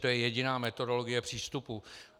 To je jediná metodologie přístupu.